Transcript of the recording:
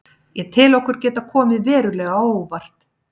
Ég tel okkur geta komið verulega á óvart.